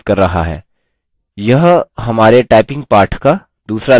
यह हमारे typing पाठ का दूसरा level होगा